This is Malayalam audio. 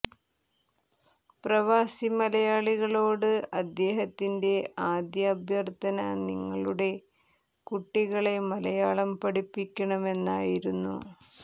പ്രവാസി മലയാളികളോട് അദ്ദേഹത്തിന്റെ ആദ്യ അഭ്യര്ഥന നിങ്ങളുടെ കുട്ടികളെ മലയാളം പഠിപ്പിക്കണമെന്നായിരുന്നു